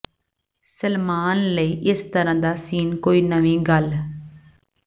ਸਲਮਾਨ ਲਈ ਇਸ ਤਰ੍ਹਾਂ ਦਾ ਸੀਨ ਕੋਈ ਨਵੀਂ ਗੱਲ